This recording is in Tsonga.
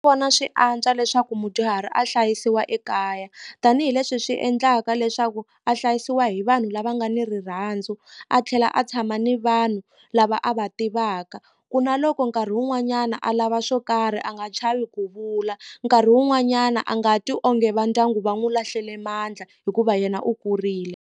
Vona swi antswa leswaku mudyuhari a hlayisiwa ekaya tanihileswi swi endlaka leswaku a hlayisiwa hi vanhu lava nga ni rirhandzu a tlhela a tshama ni vanhu lava a va va tivaka ku na loko nkarhi wun'wanyana a lava swo karhi a nga chavi ku vula nkarhi wun'wanyana a nga twi onge va ndyangu va n'wi lahlele mandla hikuva yena u kurile.